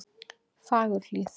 Fagurhlíð